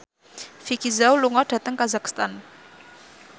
Vicki Zao lunga dhateng kazakhstan